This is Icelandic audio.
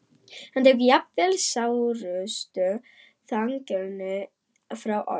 Hann tekur jafnvel sárustu þjáninguna frá oss.